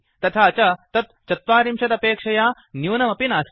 तथा च तत् ४० अपेक्षया न्यूनमपि नास्ति